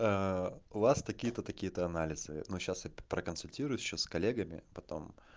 у вас такие-то такие-то анализы но сейчас я проконсультируюсь ещё с коллегами потом